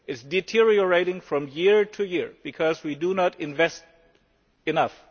Union? It is deteriorating from year to year because we do not invest